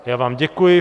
Já vám děkuji.